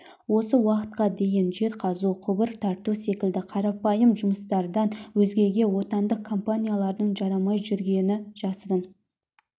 осы уақытқа дейін жер қазу құбыр тарту секілді қарапайым жұмыстардан өзгеге отандық компаниялардың жарамай жүргені жасырын